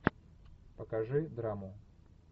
покажи драму